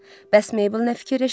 Bəs Meybel nə fikirləşir?